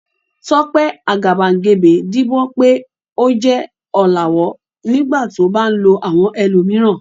Tope agabagebe díbọ́n pé ó jẹ́ ọ̀làwọ́ nígbà tí ó bá ń lo àwọn ẹlòmíràn.